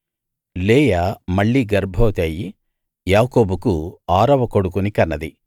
లేయా మళ్ళీ గర్భవతి అయ్యి యాకోబుకు ఆరవ కొడుకుని కన్నది